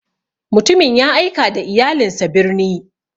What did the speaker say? Mutumin ya aika da iyalinsa birni.